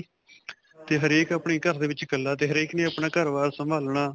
'ਤੇ ਹਰੇਕ ਆਪਣੇ ਘਰ ਦੇ ਵਿੱਚ ਇਕੱਲਾ 'ਤੇ ਹਰੇਕ ਨੇ ਆਪਣਾ ਘਰ-ਬਾਰ ਸਭਾਲਨਾ.